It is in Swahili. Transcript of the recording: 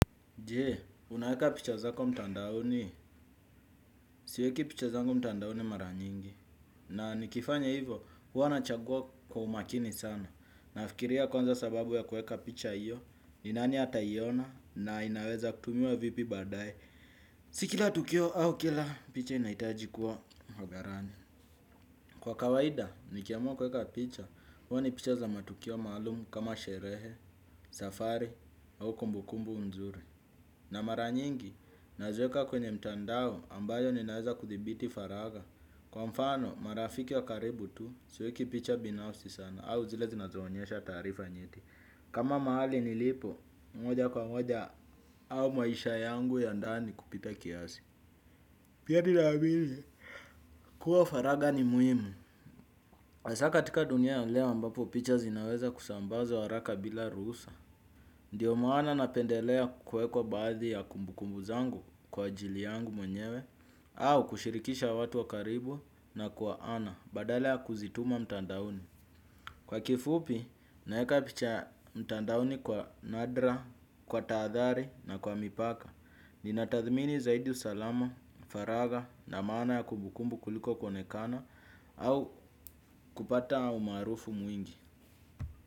Jee, unaweka picha zako mtandaoni? Siweki picha zangu mtandaoni mara nyingi. Na nikifanya hivo, huwa nachagua kwa umakini sana. Nafikiria kwanza sababu ya kuweka picha hio, ni nani ataiona na inaweza kutumiwa vipi baadae. Si kila tukio au kila picha inahitaji kuwa hadharani. Kwa kawaida, nikiamua kuweka picha, huwa ni picha za matukio maalum kama sherehe, safari au kumbu kumbu mzuri. Na mara nyingi, naziweka kwenye mtandao ambayo ninaweza kuthibiti faragha. Kwa mfano, marafiki wa karibu tu, siweki picha binafsi sana au zile zinazoonyesha taarifa nyeti. Kama mahali nilipo, moja kwa moja au maisha yangu ya ndani kupita kiasi. Pia ninaamini, kuwa faragha ni muhimu. Hasa katika dunia ya leo ambapo picha zinaweza kusambazwa haraka bila ruhusa. Ndio maana napendelea kuweka baadhi ya kumbu kumbu zangu kwa ajili yangu mwenyewe au kushirikisha watu wa karibu na kwa ana badalea kuzituma mtandaoni. Kwa kifupi naweka picha mtandaoni kwa nadra, kwa tahathari na kwa mipaka. Ninatathmini zaidi usalama, faragha na maana ya kumbu kumbu kuliko kuonekana au kupata umaarufu mwingi.